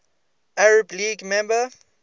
arab league member